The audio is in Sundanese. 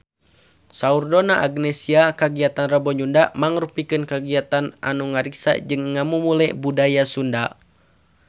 Saur Donna Agnesia kagiatan Rebo Nyunda mangrupikeun kagiatan anu ngariksa jeung ngamumule budaya Sunda